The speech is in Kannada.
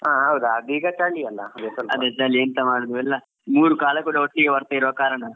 ಹಾ ಹೌದ್ ಅದು ಈಗ ಚಳಿ ಅಲ್ವ.